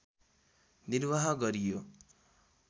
निर्वाह गरियो